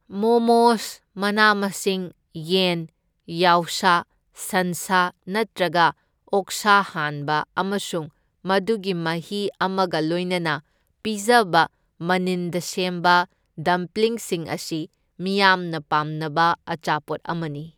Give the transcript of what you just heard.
ꯃꯣꯃꯣꯁ ꯃꯅꯥ ꯃꯁꯤꯡ, ꯌꯦꯟ, ꯌꯥꯎꯁꯥ, ꯁꯟꯁꯥ ꯅꯠꯇ꯭ꯔꯒ ꯑꯣꯛꯁꯥ ꯍꯥꯟꯕ ꯑꯃꯁꯨꯡ ꯃꯗꯨꯒꯤ ꯃꯍꯤ ꯑꯃꯒ ꯂꯣꯏꯅꯅ ꯄꯤꯖꯕ ꯃꯅꯤꯟꯗ ꯁꯦꯝꯕ ꯗꯝꯄ꯭ꯂꯤꯡꯁꯤꯡ ꯑꯁꯤ ꯃꯤꯌꯥꯝꯅ ꯄꯥꯝꯅꯕ ꯑꯆꯥꯄꯣꯠ ꯑꯃꯅꯤ꯫